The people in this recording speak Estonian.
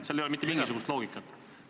Selles ei ole mitte mingisugust loogikat.